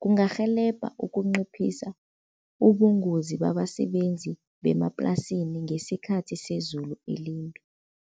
kungarhelebha ukunciphisa ubungozi babasebenzi bemaplasini ngesikhathi sezulu elimbi.